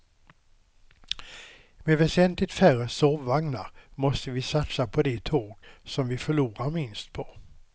Med väsentligt färre sovvagnar måste vi satsa på de tåg som vi förlorar minst på.